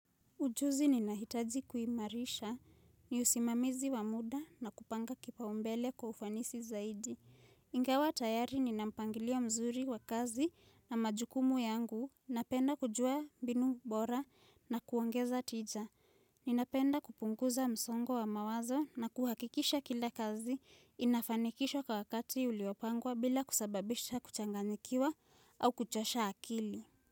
Ujuzi ninahitaji kuimarisha, ni usimamizi wa muda na kupanga kipau mbele kwa ufanisi zaidi. Ingawa tayari nina mpangilio mzuri wa kazi na majukumu yangu, napenda kujua mbinu bora na kuongeza tija. Ninapenda kupunguza msongo wa mawazo na kuhakikisha kila kazi inafanikishwa kwa wakati uliopangwa bila kusababisha kuchanganyikiwa au kuchasha akili.